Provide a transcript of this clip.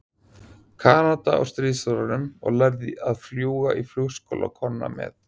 Kanada á stríðsárunum og lærði að fljúga í flugskóla Konna með